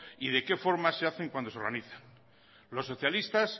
y de qué forma se hacen cuando se organizan los socialistas